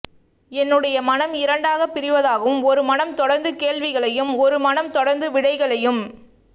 என்னுடைய மனம் இரண்டாக பிரிவதாகவும் ஒரு மனம் தொடர்ந்து கேள்விகளையும் ஒரு மனம் தொடர்ந்து விடைகளையும்